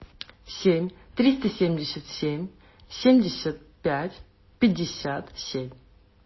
семь триста семьдесят семь семьдесят пять пятьдесят семь